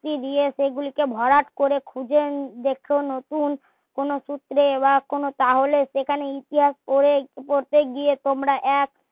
যুক্তি দিয়ে সে গুলিকে ভরাট করে খুঁজে দেখো নতুন কোনো সূত্রে বা কোনো তাহলে সেখানে ইতিহাস পড়ে বা পড়তে গিয়ে তোমরা এক